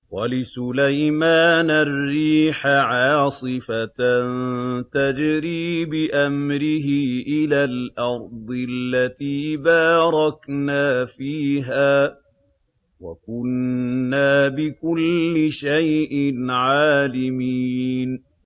وَلِسُلَيْمَانَ الرِّيحَ عَاصِفَةً تَجْرِي بِأَمْرِهِ إِلَى الْأَرْضِ الَّتِي بَارَكْنَا فِيهَا ۚ وَكُنَّا بِكُلِّ شَيْءٍ عَالِمِينَ